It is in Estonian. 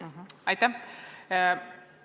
Aitäh!